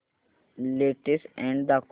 latest ad दाखव